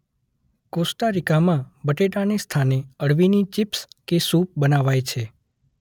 Costa રિકામાં બટેટાને સ્થાને અળવીની ચીપ્સ કે સૂપ બનાવાય છે.